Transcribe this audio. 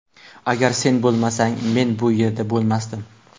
Agar sen bo‘lmasang, men bu yerda bo‘lmasdim”.